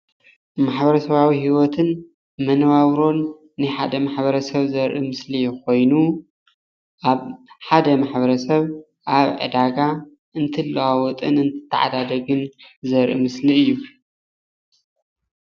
ማሕበረሰባዊ ሂወትን መነባብሮን ናይ ሓደ ማሕበረሰብ ዘርኢ ምስሊ ኮይኑ፣ ኣብ ሓደ ማሕበረሰብ ኣብ ዕዳጋ እንትለዋወጥን እንትተዓዳደግን ዘርኢ ምስሊ እዩ፡፡